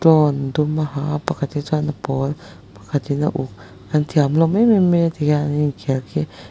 tlawn dum a ha a pakhat hi chuan a pawl pakhat in a uk an thian hlawm em em mai a tikhian an in khel khi.